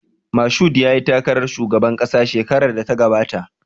Mashood yayi takarar shugaban ƙasa shekarar da ta gabata